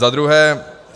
Za druhé.